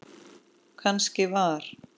Kannski var